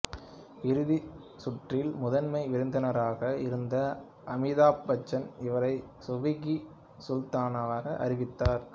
இறுதிச் சுற்றில் முதன்மை விருந்தினராக இருந்த அமிதாப் பச்சன் இவரை சூஃபி கி சுல்தானாவாக அறிவித்தார்